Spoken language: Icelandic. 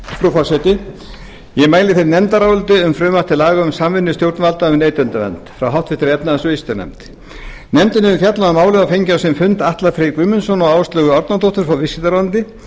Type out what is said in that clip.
forseti ég mæli hér fyrir nefndaráliti um samvinnu stjórnvalda um neytendavernd frá háttvirtri efnahags og viðskiptanefnd nefndin hefur fjallað um málið og fengið á sinn fund atla frey guðmundsson og áslaugu árnadóttur frá viðskiptaráðuneyti